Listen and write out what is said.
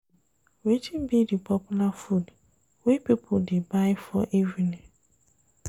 Wetin be di popular food wey people dey buy for evening?